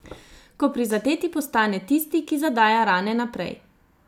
Ko prizadeti postane tisti, ki zadaja rane naprej.